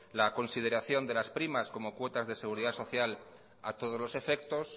la consideración de las primas como cuotas de seguridad social a todos los efectos